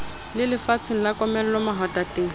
le lefatsheng la komello mahwatateng